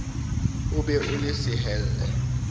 o be o le sehelle